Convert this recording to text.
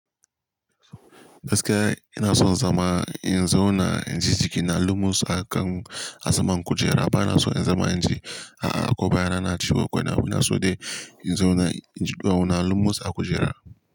Gaskiya ina son zama in zauna inji jiki na lumus a kan asaman kujera bana so in zama inji, a'a ko baya na na ciwo ko wani abu ina so dai in zauna inji ɗuwawuna lumus a kujera.